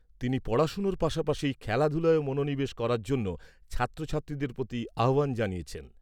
তিনি পড়াশোনার পাশাপাশি খেলাধূলায়ও মনোনিবেশ করার জন্য ছাত্র ছাত্রীদের প্রতি আহ্বান জানিয়েছেন।